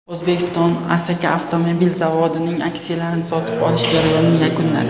O‘zbekiston Asaka avtomobil zavodining aksiyalarini sotib olish jarayonini yakunladi.